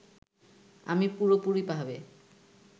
আমি পুরোপুরিভাবে